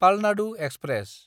Palnadu express